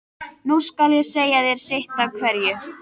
Nú skal ég segja þér sitt af hverju.